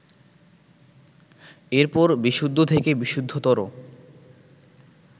এরপর বিশুদ্ধ থেকে বিশুদ্ধতর